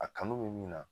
A kanu bɛ min na